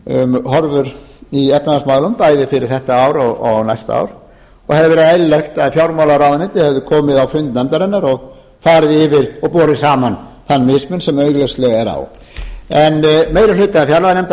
um horfur í efnahagsmálum bæði fyrir þetta ár og næsta ár og hefði verið eðlilegt að fjármálaráðuneytið hefði komið á fund nefndarinnar og farið yfir og borið saman þann mismun sem augljóslega er á en meiri hluta fjárlaganefndar